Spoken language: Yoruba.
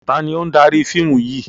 Taàní ó ń dárí fíìmù yìí?